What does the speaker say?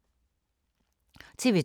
TV 2